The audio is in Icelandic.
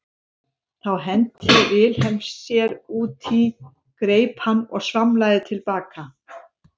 Þá henti Vilhelm sér út í, greip hann og svamlaði til baka.